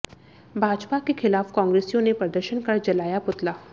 भाजपा के खिलाफ कांग्रेसियों ने प्रदर्शन कर जलाया पुतला